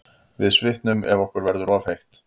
Við svitnum ef okkur verður of heitt.